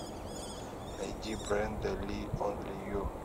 найди бренда ли онли ю